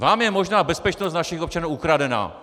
Vám je možná bezpečnost našich občanů ukradená.